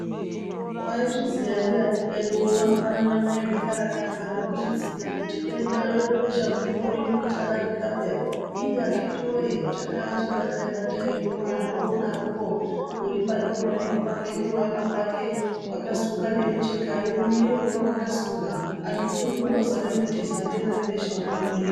Waizviziya ndiani kwedu uno apana newaizvikarakadza nekuzviziya kuti denda rebesha mupengo rino richadarika paye iiiii akiti weee chakaa chibatai batai uno anti oro odarokwo uripake waemapake ngeuripake wakasunga nemichekayo mumiro ngewakasunga vantu kurikundozame kutiza denda rebesha mupengo .